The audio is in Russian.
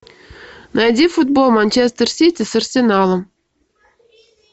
найди футбол манчестер сити с арсеналом